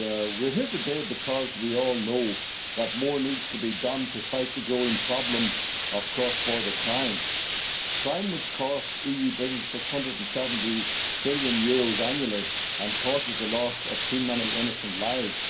We are here today because we all know that more needs to be done to fight the growing problem of cross border crime crime which costs EU business EUR 670 billion annually and causes the loss of too many innocent lives.